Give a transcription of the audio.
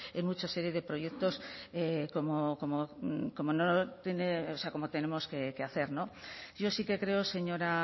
en muchos serie de proyectos como tenemos que hacer yo sí que creo señora